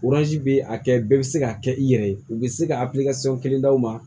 bɛ a kɛ bɛɛ bɛ se ka kɛ i yɛrɛ ye u bɛ se ka kelen d'aw ma